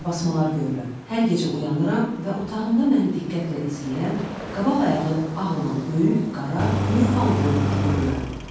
Qarabasmalar görürəm, hər gecə oyanıram və otağımda məni diqqətlə izləyən, qabaq ayağı ağ olan böyük, qara Newfoundlənd iti görürəm.